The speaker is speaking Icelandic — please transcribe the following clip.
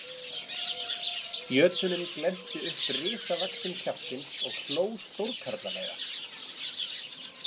Jötunninn glennti upp risavaxinn kjaftinn og hló stórkarlalega.